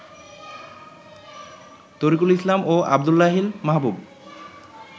তরিকুল ইসলাম ও আব্দুল্লাহিল মাহবুব